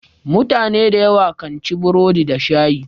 Mutune da yawa kan ci burodi da shayi.